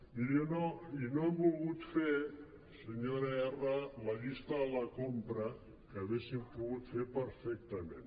miri i no hem volgut fer senyora erra la llista de la compra que haguéssim pogut fer perfectament